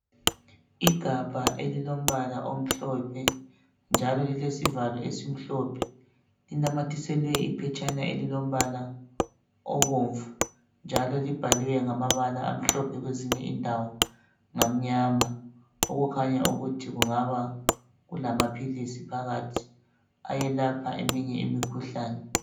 Igabha elilombala omhlophe, lilesivalo esimhlophe. Linamathiselwe iphetshana elilombala obomvu, njalo libhaliwe ngamabala amhlophe kwezinye indawo ngamyama, okukhanya ukuthi kungaba kulamaphilisi phakathi ayelapha eminye imikhuhlane.